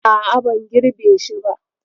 A'a, ban girbe shi ba.